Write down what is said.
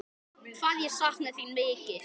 Hvað ég sakna þín mikið.